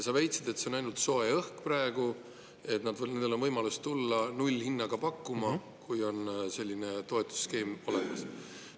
Sa väitsid, et see on ainult soe õhk praegu ja et neil on võimalus tulla nullhinnaga pakkuma, isegi kui on selline toetusskeem olemas.